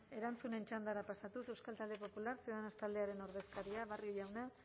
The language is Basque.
erantzunen txandara pasatuz euskal talde popular ciudadanos taldearen ordezkaria barrio jauna